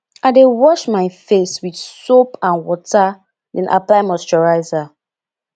i dey wash my face with soap and water then apply moisturizer